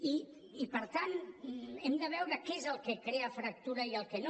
i per tant hem de veure què és el que crea fractura i el que no